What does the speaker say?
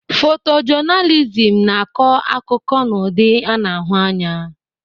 Fotojọnalizimu na-akọ akụkọ n'ụdị a na-ahụ anya.